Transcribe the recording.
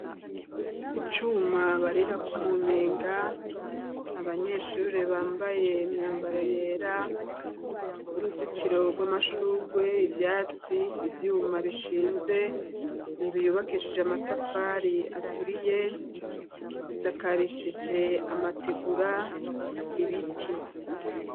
Icuma barirako umunyenga, abanyeshuri bambaye imyambaro yera, uruzitiro rw'amashurwe, ivyatsi, ivyuma bishinze inzu yubakishije amatafari aturiye isakarishije amategura, ibiti.